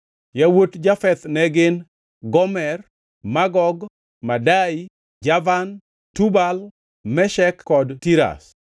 Yawuot Jafeth ne gin: Gomer, Magog, Madai, Javan, Tubal, Meshek kod Tiras.